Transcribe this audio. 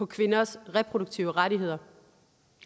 kvinders reproduktive rettigheder